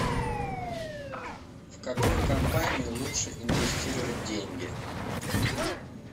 в какую компанию лучше инвестировать деньги